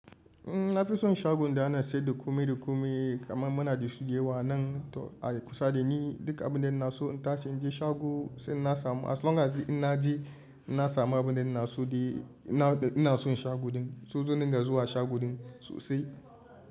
Eh na fi son shagon da ana siyar da komai da komai, kamar muna da su da yawa anan a kusa da ni. Duka abun ina so in tashi in je shago sai inna samu. As long as in na je, na samu abin da na so. Ina son shago din so zan dinga zuwa shago din sosai.